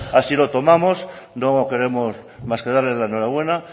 así lo tomamos no queremos más que darle la enhorabuena